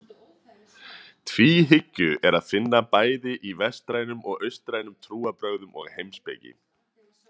Tvíhyggju er að finna bæði í vestrænum og austrænum trúarbrögðum og heimspeki.